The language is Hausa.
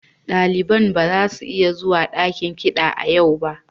Daliban ba za su iya zuwa dakin kiɗa a yau ba.